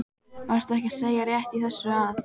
Varstu ekki að segja rétt í þessu að?